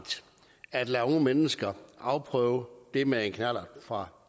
at lade unge mennesker afprøve det med en knallert fra